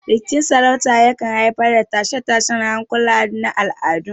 Rikicin sarauta yakan haifar da tashe-tashen hankula na al'adu.